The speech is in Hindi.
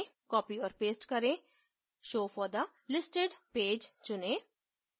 copy और paste करें show for the listed page चुनें